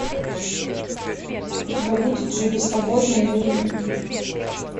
у тебя будет живи свободно или умри